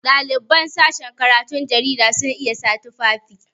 Ɗaliban sashin karatun jarida sun iya sa tufafi.